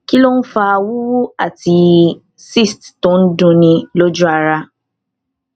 kí ló ń fa wuwu ati cyst to n dunni loju ara